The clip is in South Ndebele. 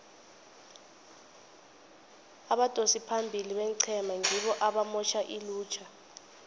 abadosi phambili beenqhema ngibo abamotjha ilutjha